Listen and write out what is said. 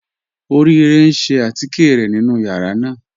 Orire n ṣẹ̀ àtíkẹ̀ rẹ̀ nínu yàrá náà.